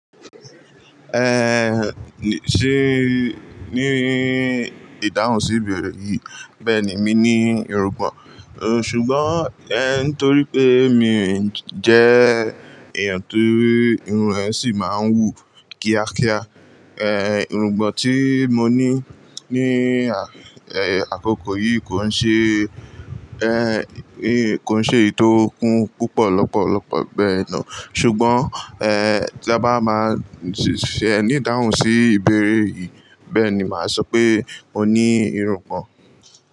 Eh, ní sì ní ìdáhùn sí ìbẹ̀rẹ̀ yìí. Bẹ́ẹ̀ ni, mi ní irungbọ̀n. Ṣùgbọ́n, eh, nítorí pé mi jẹ́ èèyàn tó irun ẹ́ ṣì máa ń wù kíákíá. Eh, irungbọ̀n tí mo ní ní, eh, àkókò yìí kò ń ṣe, eh, kò ń ṣe èyí tó kún púpọ̀ lọ́pọ̀lọpọ̀ bẹ́yẹ̀n naa. Ṣùgbọ́n, eh, tí a bá máa ṣe ní ìdáhùn sí ìbẹ̀rẹ̀ yìí, bẹ́ẹ̀ ni máa sọ pé mo ní irungbọ̀n.